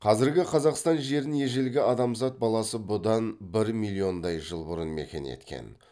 қазіргі қазақстан жерін ежелгі адамзат баласы бұдан бір миллиондай жыл бұрын мекен еткен